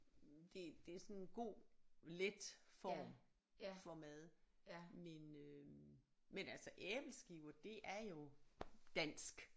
Det det er sådan en god let form for mad men øh men altså æbleskiver det er jo dansk